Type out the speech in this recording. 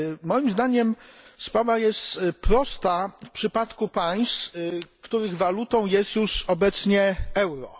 Moim zdaniem sprawa jest prosta w przypadku państw, których walutą jest już obecnie euro.